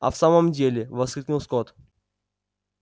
а в самом деле воскликнул скотт